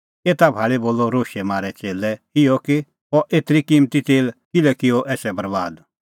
एता भाल़ी बोलअ रोशै मारै च़ेल्लै इहअ कि अह एतरी किम्मती तेल किल्है किअ एसा बरैबाद